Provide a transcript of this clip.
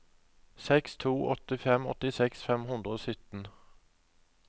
seks to åtte fem åttiseks fem hundre og sytten